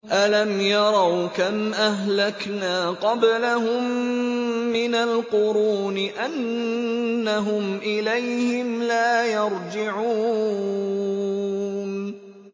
أَلَمْ يَرَوْا كَمْ أَهْلَكْنَا قَبْلَهُم مِّنَ الْقُرُونِ أَنَّهُمْ إِلَيْهِمْ لَا يَرْجِعُونَ